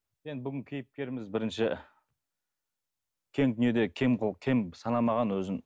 енді бүгінгі кейіпкеріміз бірінші кең дүниеде кең кем санамаған өзін